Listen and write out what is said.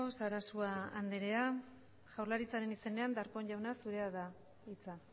sarasua andrea jaurlaritzaren izenean darpón jauna zurea da hitza